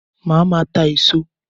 Màá máa ta èso